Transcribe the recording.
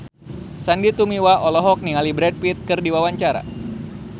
Sandy Tumiwa olohok ningali Brad Pitt keur diwawancara